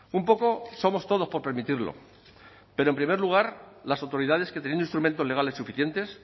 un poco somos todos por permitirlo pero en primer lugar las autoridades que teniendo instrumentos legales suficientes